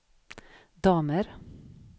damer